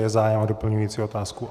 Je zájem o doplňující otázku.